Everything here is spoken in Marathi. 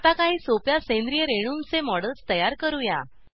आता काही सोप्या सेंद्रिय रेणूंचे मॉडेल्स तयार करूया